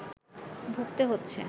ভুগতে হচ্ছে